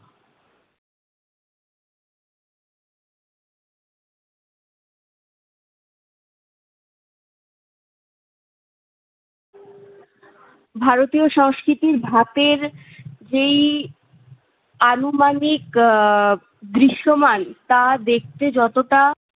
ভারতীয় সংস্কৃতির ভাতের যেই আনুমানিক আহ দৃশ্যমান তা দেখতে যতটা